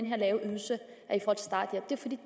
lave ydelse